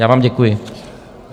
Já vám děkuji.